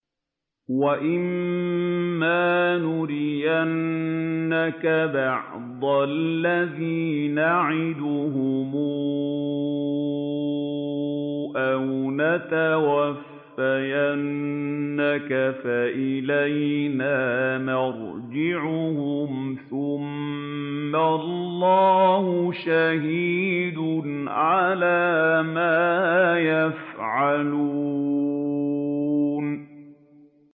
وَإِمَّا نُرِيَنَّكَ بَعْضَ الَّذِي نَعِدُهُمْ أَوْ نَتَوَفَّيَنَّكَ فَإِلَيْنَا مَرْجِعُهُمْ ثُمَّ اللَّهُ شَهِيدٌ عَلَىٰ مَا يَفْعَلُونَ